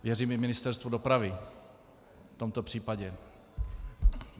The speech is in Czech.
Věřím i Ministerstvu dopravy v tomto případě.